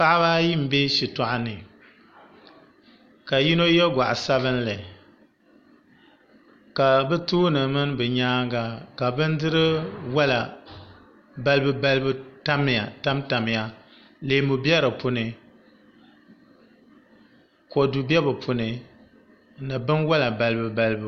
Paɣaba ayi n bɛ shitoɣu ni ka yino yɛ goɣa sabinli ka bi tooni mini bi nyaanga ka bindiri wola balibu balibu tamtamya leemu bɛ di puuni kodu bɛ di puuni ni binwola balibu balibu